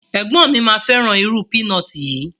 Ẹgbọn mi ma feran iru pinọti yi